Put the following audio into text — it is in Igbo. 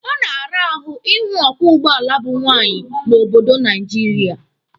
Ọ na-ara ahụ ịhụ ọkwọ ụgbọala bụ nwaanyị n'obodo Naijiria.